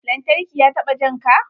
Lantarki ya taɓa janka?